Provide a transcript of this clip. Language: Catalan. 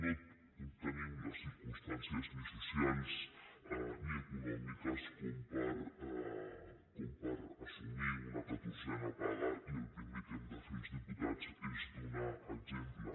no tenim les circumstàncies ni socials ni econòmiques com per assumir una catorzena paga i el primer que hem de fer els diputats és donar exemple